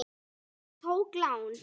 Ég tók lán.